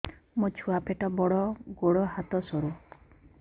ମୋ ଛୁଆ ପେଟ ବଡ଼ ଗୋଡ଼ ହାତ ସରୁ